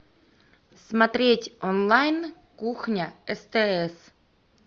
смотреть онлайн кухня стс